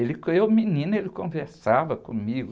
Ele com eu, menina, ele conversava comigo.